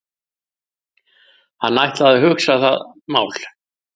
Hann ætlaði að hugsa það mál.